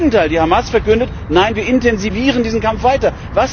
Im Gegenteil, die Hamas verkündet Nein, wir intensivieren diesen Kampf weiter!